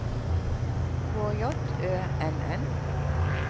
K J Ø N N